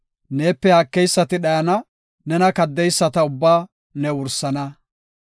Neepe haakeysati dhayana; nena kaddeyisata ubbaa ne wursana.